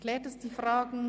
Klärt das die Fragen?